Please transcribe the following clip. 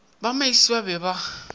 ba meisie ba be ba